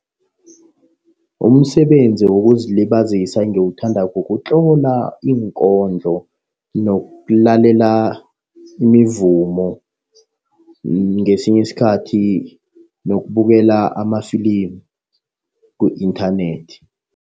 Umsebenzi wokuzilibazisa engiwuthandako ukutlola iinkondlo, nokulalela imivumo. Ngesinye isikhathi nokubukela amafilimu ku-inthanethi.